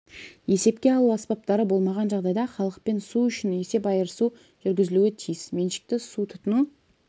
есепке алу аспаптары болмаған жағдайда халықпен су үшін есеп айырысу жүргізілуі тиіс меншікті су тұтыну